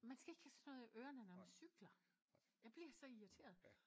Man skal ikke have sådan noget i ørerne når man cykler jeg bliver så irriteret